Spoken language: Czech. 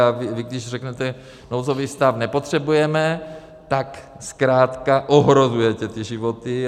A vy když řeknete "nouzový stav nepotřebujeme", tak zkrátka ohrožujete ty životy.